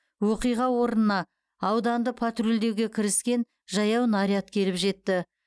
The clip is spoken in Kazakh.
оқиға орнына ауданды патрульдеуге кіріскен жаяу наряд келіп жетті